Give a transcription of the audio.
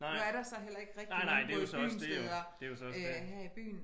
Nu er der så heller ikke rigtigt nogen gå i byen steder øh her i byen